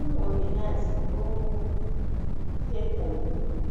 Umongikazi lowo usegqokile